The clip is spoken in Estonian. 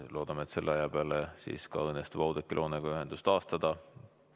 Loodame, et selle aja peale õnnestub Oudekki Loonega ühendus taastada.